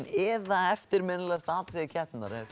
eða eftirminnilegasta atriði keppninnar ef